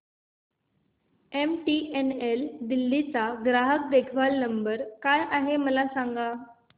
MTNL Delhi चा ग्राहक देखभाल नंबर काय आहे मला सांग